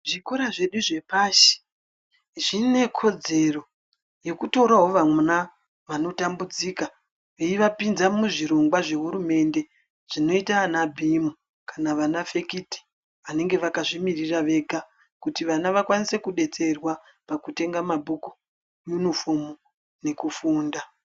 Zvikora zvedu zve pashi zvine kodzero yeku torawo vana vano tambudzika vei vapinza mu zvirongwa zve hurumende zvino ita ana bhimu kana vana fekiti anenge vakazvi miririra vega kuti vana vakwanise ku detserwa paku tenga mabhuku yunifomu neku funda.